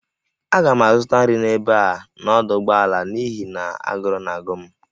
Aga m azụta nri n'ebe a n'ọdụ ụgbọala n'ihi na agụrụ na-agụ m